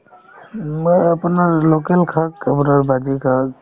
উম, মই আপোনাৰ local শাক আপোনাৰ শাক